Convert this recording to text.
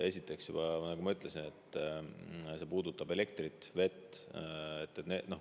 Esiteks, nagu ma ütlesin, see puudutab elektrit ja vett.